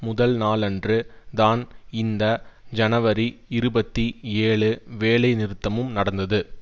முதல் நாளன்று தான் இந்த ஜனவரி இருபத்தி ஏழு வேலை நிறுத்தமும் நடந்தது